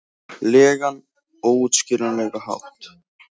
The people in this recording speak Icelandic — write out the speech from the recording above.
legan, óútskýranlegan hátt.